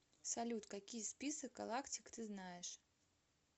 салют какие список галактик ты знаешь